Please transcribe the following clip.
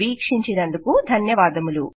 వీక్షించినందుకు ధన్యవాదములు